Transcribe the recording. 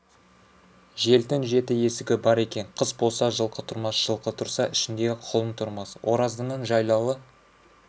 желдің жеті есігі бар екен қыс болса жылқы тұрмас жылқы тұрса ішіндегі құлын тұрмас ораздының жайлауы